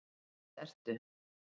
víst ertu